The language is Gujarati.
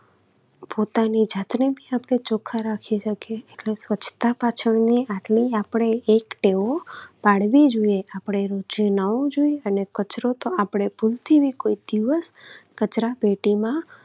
પોતાની જાતને પણ આપણે ચોખ્ખા રાખી શકીએ એટલે સ્વચ્છતા પાછળની આટલી આપણે એક ટેવો પાડવી જોઈએ. આપણે જે અને કચરો તો આપણે ભૂલથી પણ કોઈ દિવસ કચરાપેટીમાં